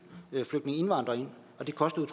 flygtningeindvandrere ind og det kostede